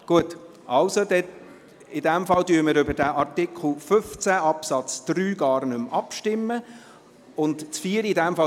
– In diesem Fall stimmen wir über den Artikel 15 Absatz 3 gar nicht mehr ab.